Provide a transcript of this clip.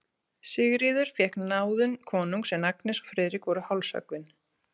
Sigríður fékk náðun konungs, en Agnes og Friðrik voru hálshöggvin.